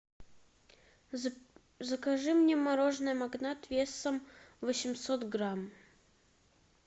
закажи мне мороженое магнат весом восемьсот грамм